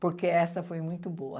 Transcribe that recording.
Porque essa foi muito boa.